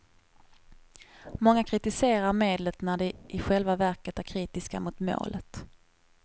Många kritiserar medlet när de i själva verket är kritiska mot målet.